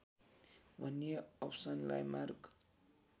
भन्ने अप्सनलाई मार्क